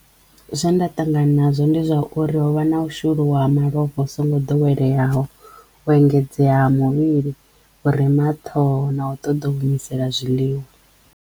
Zwe nda ṱangana nazwo ndi zwa uri ho vha na u shuluwa ha malofha hu songo doweleyaho, u engedzeya ha muvhili, u rema ha ṱhoho na u ṱoḓo u humisela zwiḽiwa.